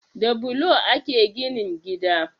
Da bulo ake ginin gida